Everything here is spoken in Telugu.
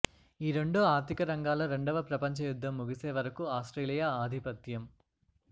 ఈ రెండు ఆర్ధిక రంగాల రెండవ ప్రపంచ యుద్ధం ముగిసే వరకు ఆస్ట్రేలియా ఆధిపత్యం